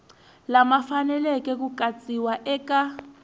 lama faneleke ku katsiwa eka